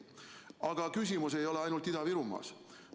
Aga küsimus ei ole ainult Ida-Virumaas.